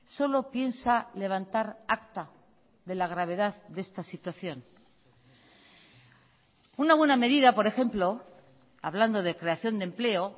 solo piensa levantar acta de la gravedad de esta situación una buena medida por ejemplo hablando de creación de empleo